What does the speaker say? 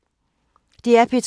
DR P2